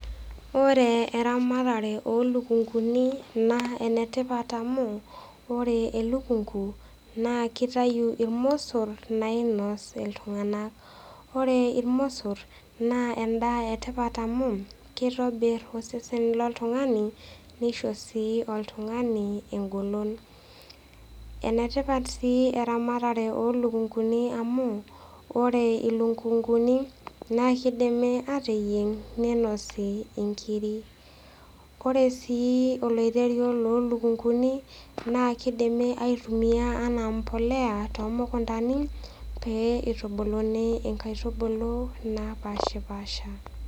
Ore eramatare oo ilukunguni naa enetipat amu ore elukungu naa keitayu ilmosor nainos iltung'ana. Ore ilmosor naa endaa e tipat amu keitobir osesen loltung'ani neisho sii oltung'ani engolon, enetipat sii eramatare oo ilukunguni amu ore ilukunguni naa keidimi ateyieng' neinosi inkiri. Ore sii oloirerio loo ilukunguni naa keidimi aitumia anaa embolea too mukuntani pee neitubuluni inkaitubulu napaashipaasha.